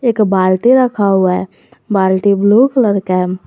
एक बाल्टी रखा हुआ है बाल्टी ब्लू कलर का है।